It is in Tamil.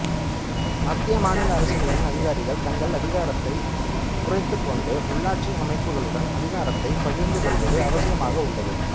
மத்திய மாநில அரசுகளின் அதிகாரிகள் தங்கள் அதிகாரத்தை குறைத்துக்கொண்டு உள்ளாட்சி அமைப்புகளுடன் அதிகாரத்தை பகிர்ந்துகொள்வது அவசியமாக உள்ளது